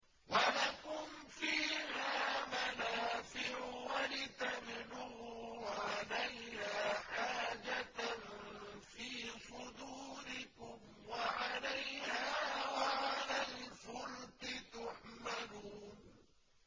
وَلَكُمْ فِيهَا مَنَافِعُ وَلِتَبْلُغُوا عَلَيْهَا حَاجَةً فِي صُدُورِكُمْ وَعَلَيْهَا وَعَلَى الْفُلْكِ تُحْمَلُونَ